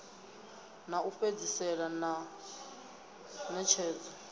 ḽa u fhedzisela ḽa ṋetshedzo